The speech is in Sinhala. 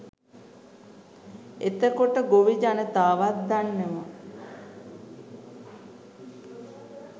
එතකොට ගොවි ජනතාවත් දන්නවා